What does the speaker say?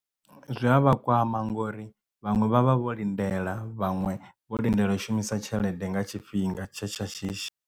Zwi a vhakwama ngori vhaṅwe vha vha vho lindela vhaṅwe vho lindela u shumisa tshelede nga tshifhinga tshe tsha shishi.